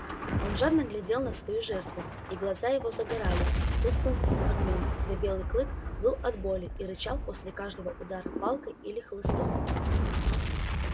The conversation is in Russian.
он жадно глядел на свою жертву и глаза его загорались тусклым огнём когда белый клык выл от боли и рычал после каждого удара палкой или хлыстом